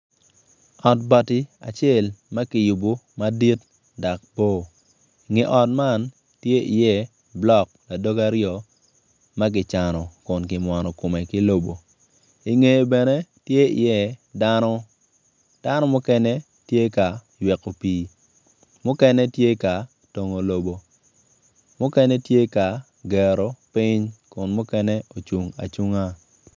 Ot bati acel ma kiyubo madit dok bor nge ot man tye i iye blok ladoge aryo ma kicano kun kimwono kome ki lobo ingeye bene tye i iye dano, dano mukene tye ka yweko pii mukene tye ka tongo lobo mukene tye ka gero piny kun mukene ocung acunga